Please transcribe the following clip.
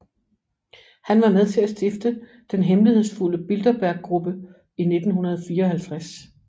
Han var med til at stifte den hemmelighedsfulde Bilderberggruppe i 1954